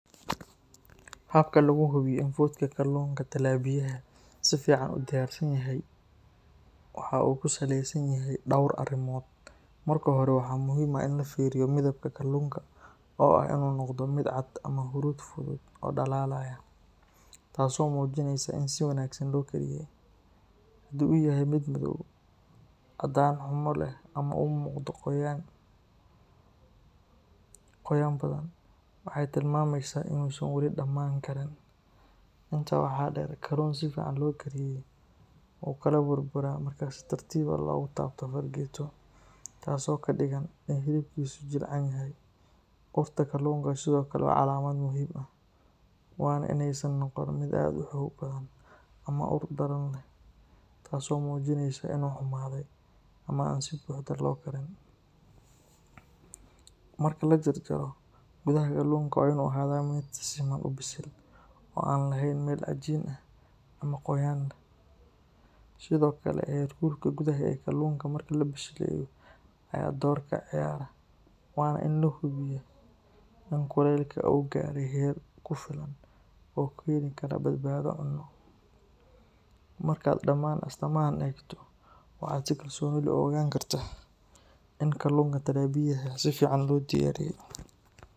Habka lagu hubiyo in fudka kalluunka talapiyaha si fiican uu diyaarsan yahay waxa uu ku saleysan yahay dhowr arrimood. Marka hore, waxaa muhiim ah in la fiiriyo midabka kalluunka, oo ah inuu noqdo mid cad ama huruud fudud oo dhalaalaya, taasoo muujinaysa in si wanaagsan loo kariyey. Haddii uu yahay mid madow, caddaan xumo leh ama uu u muuqdo qoyaan badan, waxay tilmaamaysaa inuusan weli dhammaan karin. Intaa waxaa dheer, kalluun si fiican loo kariyey wuu kala burburaa marka si tartiib ah loogu taabto fargeeto, taasoo ka dhigan in hilibkiisu jilicsan yahay. Urta kalluunka sidoo kale waa calaamad muhiim ah, waana inaysan noqon mid aad u xoog badan ama ur daran leh, taasoo muujinaysa inuu xumaaday ama aan si buuxda loo karin. Marka la jarjaro, gudaha kalluunka waa inuu ahaadaa mid si siman u bisil, oo aan lahayn meel cajiin ah ama qoyaan leh. Sidoo kale, heerkulka gudaha ee kalluunka marka la bisleeyo ayaa door ka ciyaara, waana in la hubiyaa in kulaylka uu gaaray heer ku filan oo keeni kara badbaado cunno. Markaad dhammaan astaamahaan eegto, waxaad si kalsooni leh u ogaan kartaa in kalluunka talapiyaha si fiican loo diyaariyey.